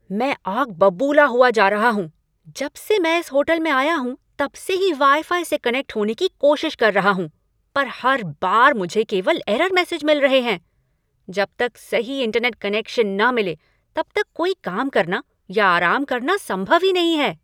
मैं आग बबूला हुआ जा रहा हूँ! जब से मैं इस होटल में आया हूँ तब से ही वाई फाई से कनेक्ट होने की कोशिश कर रहा हूँ, पर हर बार मुझे केवल एरर मैसेज मिल रहे हैं। जब तक सही इंटरनेट कनेक्शन न मिले तब तक कोई काम करना या आराम करना संभव ही नहीं है।